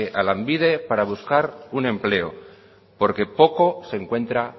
a lanbide para buscar un empleo porque poco se encuentra